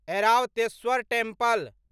Airavatesvara temple